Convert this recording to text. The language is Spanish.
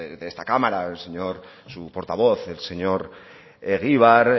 de esta cámara su portavoz el señor egibar